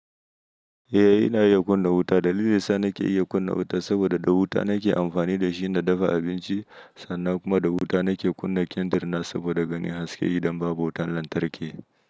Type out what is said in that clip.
Eh ina iya kunna wuta. Dalilin sa nake iya kunna wuta saboda da wuta nake amfani da shi na dafa abinci sannan kuma da wuta nake kunna kindirna saboda ganin haske idan babu wutan lantarki.